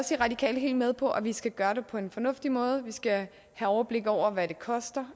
de radikale helt med på at vi skal gøre det på en fornuftig måde og at vi skal have overblik over hvad det koster